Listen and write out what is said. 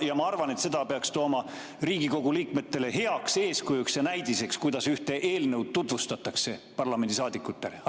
Ja ma arvan, et seda peaks Riigikogu liikmetele heaks eeskujuks ja näidiseks tooma, kuidas ühte eelnõu parlamendisaadikutele tutvustatakse.